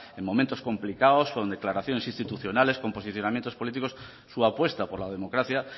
en momentos complicados con declaraciones institucionales con posicionamientos políticos su apuesta por la democracia